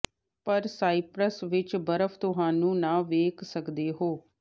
ਪਰ ਸਾਈਪ੍ਰਸ ਵਿੱਚ ਬਰਫ ਤੁਹਾਨੂੰ ਨਾ ਵੇਖ ਸਕਦੇ ਹੋ